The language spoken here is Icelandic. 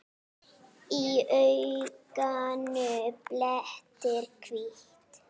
Í auganu blettur hvítur.